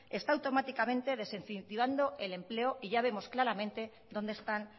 está automáticamente desincentivando el empleo y ya vemos claramente dónde están